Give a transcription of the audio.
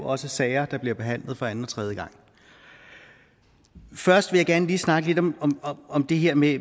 også sager der bliver behandlet for anden og tredje gang først vil jeg gerne lige snakke lidt om om det her med